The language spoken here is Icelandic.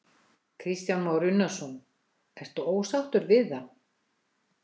Kristján Már Unnarsson: Ertu ósáttur við það?